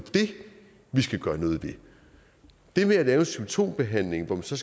vi skal gøre noget ved det med at lave en symptombehandling hvor man så